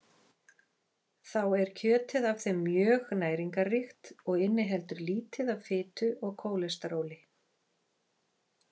Þá er kjötið af þeim mjög næringarríkt og inniheldur lítið af fitu og kólesteróli.